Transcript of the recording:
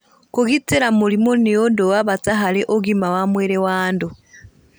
Kũgitĩra mũrimũ nĩ ũndũ wa bata harĩ ũgima wa mwĩrĩ wa andũ.